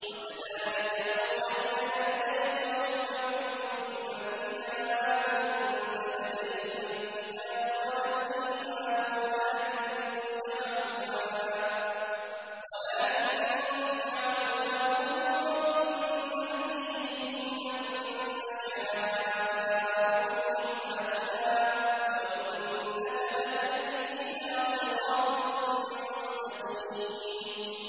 وَكَذَٰلِكَ أَوْحَيْنَا إِلَيْكَ رُوحًا مِّنْ أَمْرِنَا ۚ مَا كُنتَ تَدْرِي مَا الْكِتَابُ وَلَا الْإِيمَانُ وَلَٰكِن جَعَلْنَاهُ نُورًا نَّهْدِي بِهِ مَن نَّشَاءُ مِنْ عِبَادِنَا ۚ وَإِنَّكَ لَتَهْدِي إِلَىٰ صِرَاطٍ مُّسْتَقِيمٍ